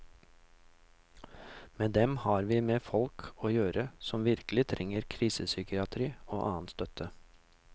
Med dem har vi med folk å gjøre som virkelig trenger krisepsykiatri og annen støtte.